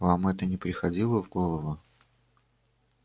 вам это не приходило в голову